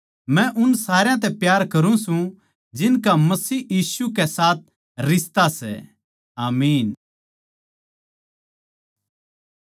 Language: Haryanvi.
मै उन सारया तै प्यार करुँ सूं जिनका मसीह यीशु के साथ रिश्ता सै आमीन